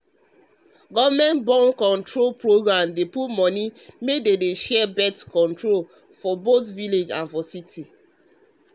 government born-control program dey put money make dem share born-control things for both village and city people.